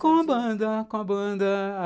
Com a banda, com a banda.